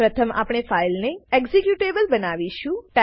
પ્રથમ આપણે ફાઈલને એક્ઝિક્યુટેબલ બનાવીશું